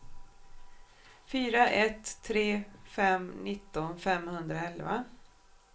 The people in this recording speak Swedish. fyra ett tre fem nitton femhundraelva